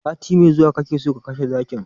Sati mai zuwa kake so ka kashe zakin?